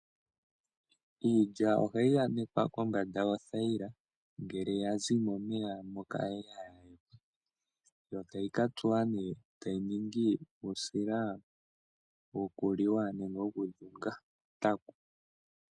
Iilya ohayi anekwa kombanda yothaila ngele ya zi momeya moka ya li, yo tayi ka tsuwa nee etayi ningi uusila wokuliwa nenge wokudhunga ontaku.